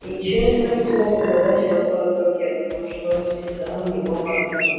и ещё никто не смог угадать в какой он руке потому что он всегда у него во рту